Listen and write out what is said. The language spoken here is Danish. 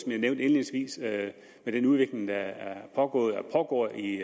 nævnte indledningsvis med den udvikling der er pågået og pågår i